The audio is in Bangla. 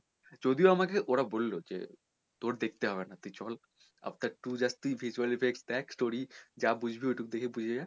যদিও আমাকে ওরা বললো যে তোর দেখতে হবে না তুই চল Avatar two just তুই visually base দেখ তুই story যা দেখবি ওইটুকু দেখে বুঝে যা